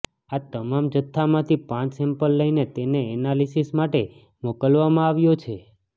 આ તમામ જથ્થામાંથી પાંચ સેમ્પલ લઈને તેને એનાલિસિસ માટે મોકલવામાં આવ્યો છે